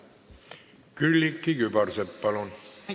Külliki Kübarsepp, palun!